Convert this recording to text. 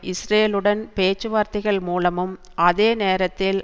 இஸ்ரேலுடன் பேச்சுவார்த்தைகள் மூலமும் அதே நேரத்தில்